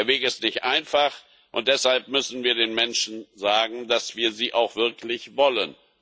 Der Weg ist nicht einfach, und deshalb müssen wir den Menschen sagen, dass wir sie auch wirklich wollen.